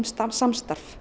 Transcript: samstarf